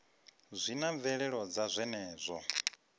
zwi na mvelelo dza zwenezwo